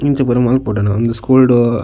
ಇಂಚ ಪೂರ ಮಲ್ಪೊಡೆನ ಉಂದು ಸ್ಕೂಲು ಡು--